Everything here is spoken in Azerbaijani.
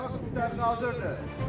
Verəli Həsənli hazırdır.